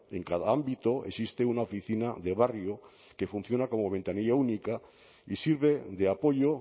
en cada ámbito existe una oficina de barrio que funciona como ventanilla única y sirve de apoyo